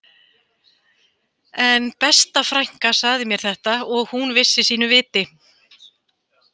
En besta frænka sagði mér þetta og hún vissi sínu viti